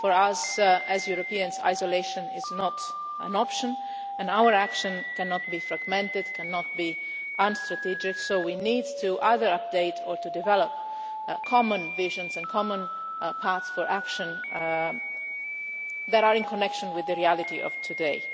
For us as Europeans, isolation is not an option and our action cannot be fragmented, cannot be unstrategic so we need to either update or to develop common visions and common paths for action that are in connection with the reality of today.